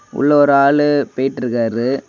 உள்ள ஒரு ஆளு போயிட்டு இருக்காரு.